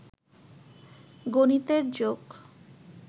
গনিতের joke